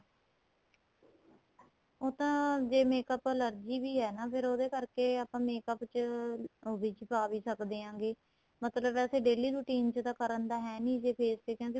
ਉਹ ਤਾਂ makeup allergy ਵੀ ਏ ਨਾ ਫ਼ੇਰ ਉਹਦੇ ਕਰਕੇ ਆਪਾਂ makeup ਚ ਉਹ ਵਿੱਚ ਪਵਾ ਵੀ ਸਕਦੇ ਹੈਗੇ ਮਤਲਬ ਆਹ daily routine ਚ ਕਰਨ ਦਾ ਹੈਨੀ ਜੇ face ਤੇ ਕਹਿੰਦੇ